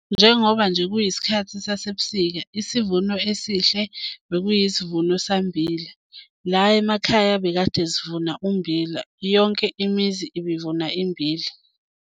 Njengoba nje kuyisikhathi sasebusika isivuno esihle bekuyisivuno sikammbila. La emakhaya bekade sivuna ummbila. Yonke imizi ibivuna immbila.